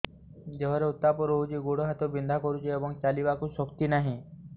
ଦେହରେ ଉତାପ ରହୁଛି ଗୋଡ଼ ହାତ ବିନ୍ଧା କରୁଛି ଏବଂ ଚାଲିବାକୁ ଶକ୍ତି ନାହିଁ